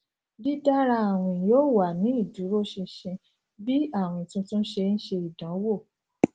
didara awin yoo wa ni iduroṣinṣin bi awin tuntun ṣe n ṣe idanwo